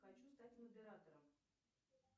хочу стать модератором